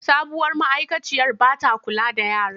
Sabuwar ma’aikaciyar ba ta kula da yaran.